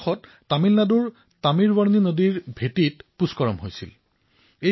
যোৱা বছৰ তামিলনাডুৰ তামীৰ বৰনী নদীত পুষ্কৰম আয়োজিত হৈছিল